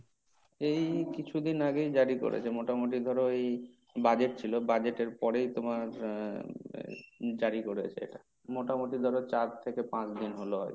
এই কিছুদিন আগেই জারি করেছে। মোটামুটি ধরো এই budget ছিল budget এর পরেই তোমার আহ জারি করেছে এটা। মোটামুটি ধরো চার থেকে পাঁচ দিন হলো হয়তো।